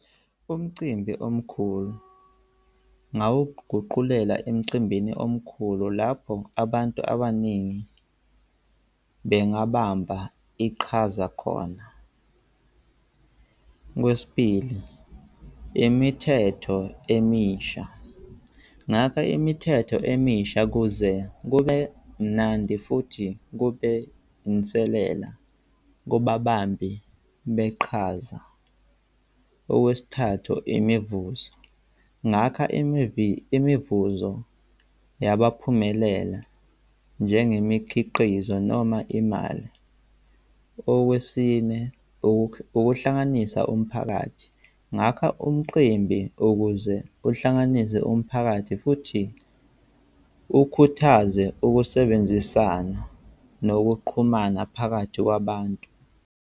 Umcimbi omkhulu. Ngawuguqulela emcimbini omkhulu lapho abantu abaningi bengabamba iqhaza khona. Okwesibili, imithetho emisha. Ngakha imithetho emisha ukuze kube mnandi futhi kube inselela kubabambi beqhaza. Okwesithathu, imivuzo. Ngakha imivuzo yabaphumelela njengemikhiqizo noma imali. Okwesine, ukuhlanganisa umphakathi. Ngakha umqimbi ukuze kuhlanganise umphakathi futhi ukhuthaze ukusebenzisana nokuqhumana phakathi kwabantu.